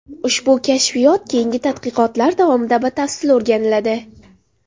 Ushbu kashfiyot keyingi tadqiqotlar davomida batafsil o‘rganiladi.